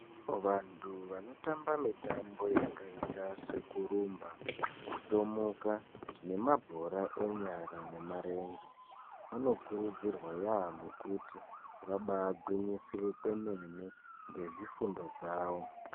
Vantu vanotamba mitambo yakaita sekurumba, kutomuka nemabhora enyara nemarenje anokurudzirwa yaamho kuti vabaa gwinyisire kwemene ngezvifundo zvawo.